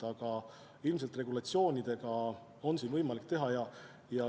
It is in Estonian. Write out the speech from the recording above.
Aga ilmselt regulatsioonidega on siin võimalik midagi teha.